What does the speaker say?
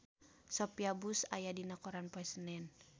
Sophia Bush aya dina koran poe Senen